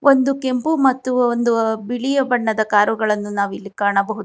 ಒಂದು ಕೆಂಪು ಮತ್ತು ಒಂದು ಬಿಳಿಯ ಬಣ್ಣದ ಕಾರು ಗಳನ್ನು ನಾವಿಲ್ಲಿ ಕಾಣಬಹು--